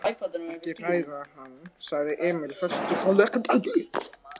Ekki hræða hann, sagði Emil höstuglega.